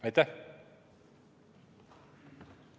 Aitäh!